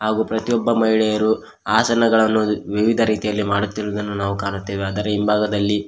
ಹಾಗು ಪ್ರತಿಯೊಬ್ಬ ಮಹಿಳೆಯರು ಆಸನಗಳನ್ನು ವಿವಿಧ ರೀತಿಯಲ್ಲಿ ಮಾಡುತ್ತಿರುವುದನ್ನು ನಾವು ಕಾಣುತ್ತೇವೆ ಆದರ ಹಿಂಭಾಗದಲ್ಲಿ--